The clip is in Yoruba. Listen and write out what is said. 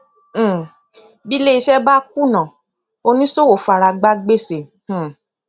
um bí iléiṣẹ bá kùnà oníṣòwò faragbá gbèsè um